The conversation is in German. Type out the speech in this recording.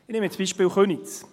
Ich nehme das Beispiel Köniz.